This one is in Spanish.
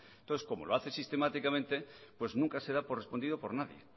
entonces como lo hace sistemáticamente pues nunca se da por respondido por nadie